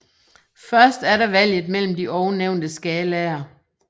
Først er der valget mellem de ovennævnte skalaer